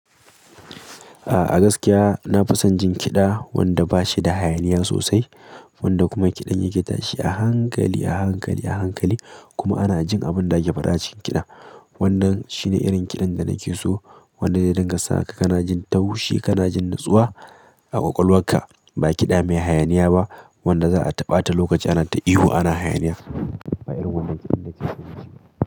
A gaskiya na fi son jin kiɗa wanda ba shi da hayaniya sosai, wanda kuma kiɗan yake tashi a hankali, a hankali, a hankali kuma ana jin abin da ake faɗa cikin kiɗa. Wannan shine irin kiɗan da nake so, wanda zai dinga sa ka kana jin taushi, kana jin natsuwa a ƙwaƙwalwarka. Ba kiɗa mai hayaniya ba, wanda za a ta ɓata lokaci ana ta ihu ana hayaniya. Ba irin wannan kiɗan nake so ba.